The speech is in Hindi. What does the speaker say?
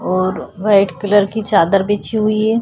और वाइट कलर की चादर बिछी हुई है।